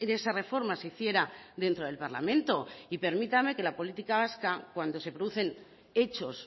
esa reforma se hiciera dentro del parlamento y permítame que la política vasca cuando se producen hechos